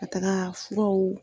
Ka taga furaw